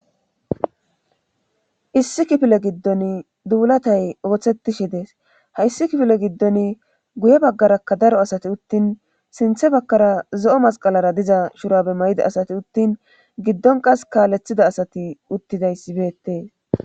issi kifile giddon dubulatay ooththettishe dees hayssi kifile giddon guye baggarakka daro asati uttin sinthe bakkara zo7o masqalara diza shurabe may7ida asati uttin giddon qas kaaleththida asati uttidayssibeettees